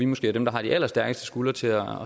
måske dem der har de allerstærkeste skuldre til at